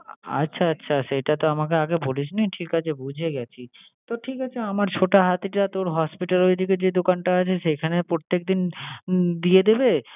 আচ্ছা আচ্ছা সেটাতো আমাকে আগে বলিসনি, ঠিক আছে বুঝে গেছি। তো, ঠিক আছে আমার ছোটা হাতিটা তোর hospital এর ওইদিকে যে দোকানটা আছে সেখানে প্রত্যেকদিন দিয়ে দেবে।